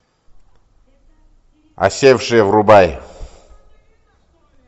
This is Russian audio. осевшие врубай